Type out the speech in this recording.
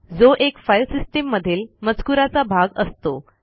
जो एक file system मधील मजकुराचा भाग असतो